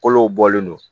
Kolo bɔlen don